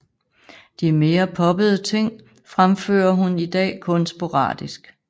De mere poppede ting fremfører hun i dag kun sporadisk